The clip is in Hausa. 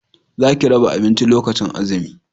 za ki raba abinci lokacin azumi!